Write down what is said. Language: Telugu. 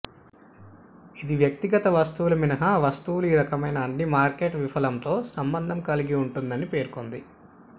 ఇది వ్యక్తిగత వస్తువుల మినహా వస్తువుల ఈ రకమైన అన్ని మార్కెట్ విఫలంతో సంబంధం కలిగి ఉంటుందని పేర్కొంది